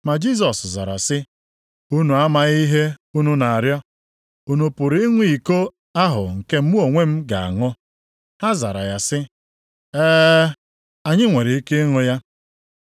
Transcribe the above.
Ma Jisọs zara sị, “Unu amaghị ihe unu na-arịọ. Unu pụrụ ịṅụ iko ahụ nke mụ onwe m ga-aṅụ?” Ha zara ya sị, “Ee, anyị nwere ike ịṅụ ya.”